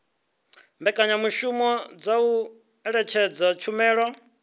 mbekanyamushumo dza u ṅetshedza tshumelo